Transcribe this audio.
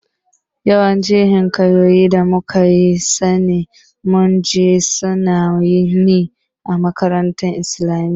Yawancin Hikayoyin da muka sani mun ji sun ne a makarantun islamiyya